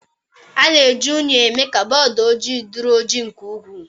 A na-eji unyi emee ka bọọdụ ojii dịrị ojii nke ukwu